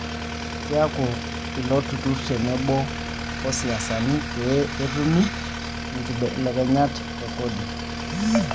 Keeku ilo torurr teneboo o siasani pee etumi nkibelekenyat e kodi